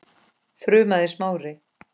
þrumaði Smári.